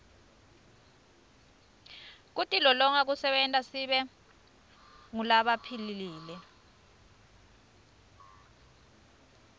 kutilolonga kusenta sibe ngulabaphilile